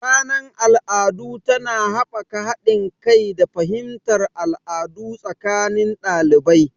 Ranar al'adu tana haɓaka haɗin kai da fahimtar al'adu tsakanin ɗalibai.